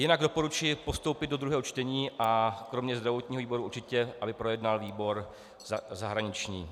Jinak doporučuji postoupit do druhého čtení a kromě zdravotního výboru určitě aby projednal výbor zahraniční.